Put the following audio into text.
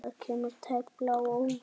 Það kemur tæplega á óvart.